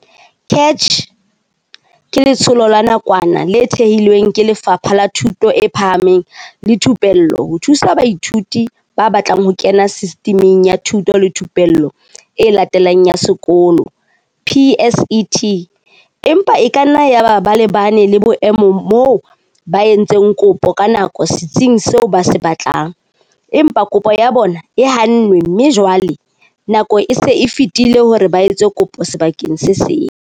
CACH ke letsholo la nakwana le thehilweng ke Lefapha la Thuto e Phahameng le Thupello ho thusa baithuti ba batlang ho kena Sistiming ya Thuto le Thupello e Latelang ya Sekolo, PSET, empa e kanna yaba ba lebane le boemo moo ba, entseng kopo ka nako setsing seo ba se batlang, empa kopo ya bona e hannwe mme jwale nako e se e fetile hore ba etse kopo sebakeng se seng.